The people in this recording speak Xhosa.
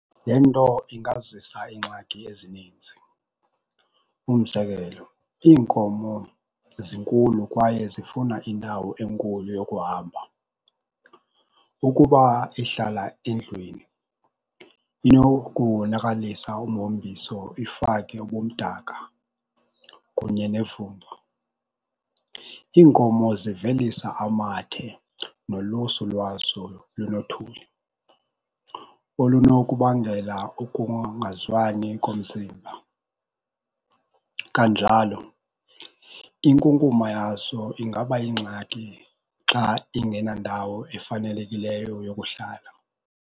Le nto ingazisa iingxaki ezininzi. Umzekelo, iinkomo zinkulu kwaye zifuna indawo enkulu yokuhamba. Ukuba ihlala endlwini inokuwonakalisa umhombiso, ifake ubumdaka kunye nevumba. Iinkomo zivelisa amathe nolusu lwazo lunothuli olunokubangela ukungazwani komzimba. Kanjalo inkunkuma yazo ingaba yingxaki xa ingenandawo efanelekileyo yokuhlala.